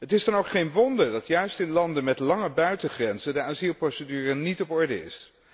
Het is dan ook geen wonder dat juist in landen met lange buitengrenzen de asielprocedure niet op orde is.